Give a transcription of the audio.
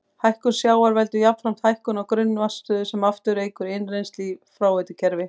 Hækkun sjávar veldur jafnframt hækkun á grunnvatnsstöðu sem aftur eykur innrennsli í fráveitukerfi.